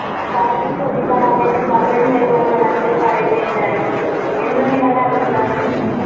പകരം ചോദിക്കാൻ അവന്റെ മകൻ വരുവെന്നോ മറ്റും പറയുകയുണ്ടായി എന്താ നിങ്ങളുടെ അഭിപ്രായം?